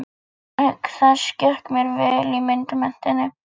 Auk þess gekk mér vel í myndmenntinni.